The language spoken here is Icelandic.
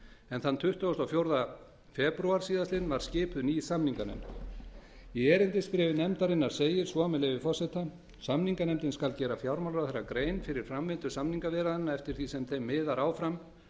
en þann tuttugasta og fjórða febrúar var skipuð ný samninganefnd í erindisbréfi nefndarinnar segir svo með leyfi forseta samninganefndin skal gera fjármálaráðherra grein fyrir framvindu samningaviðræðna eftir því sem þeim miðar áfram